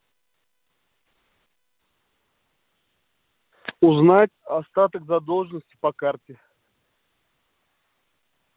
узнать остаток задолженности по карте